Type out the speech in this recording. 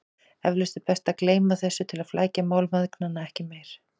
Eflaust er best að gleyma þessu til að flækja mál mæðgnanna ekki meira.